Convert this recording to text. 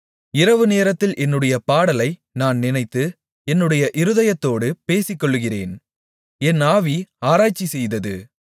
இரவுநேரத்தில் என்னுடைய பாடலை நான் நினைத்து என்னுடைய இருதயத்தோடு பேசிக்கொள்ளுகிறேன் என் ஆவி ஆராய்ச்சிசெய்தது